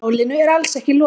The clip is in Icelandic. Málinu er alls ekki lokið.